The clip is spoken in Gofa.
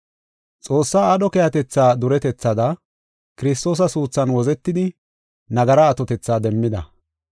Xoossaa aadho keehatetha duretethaada Kiristoosa suuthan wozetidi nagara atotetha demmida.